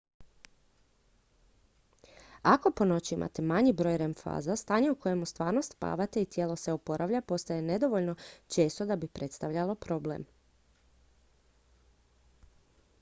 ako po noći imate manji broj rem faza stanje u kojem stvarno spavate i tijelo se oporavlja postaje nedovoljno često da bi predstavljalo problem